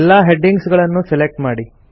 ಎಲ್ಲಾ ಹೆಡ್ಡಿಂಗ್ಸ್ ಗಳನ್ನೂ ಸೆಲೆಕ್ಟ್ ಮಾಡಿ